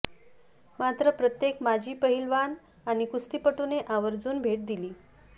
मात्र प्रत्येक माजी पहिलवान आणि कुस्तीपटूने आवर्जून भेट दिली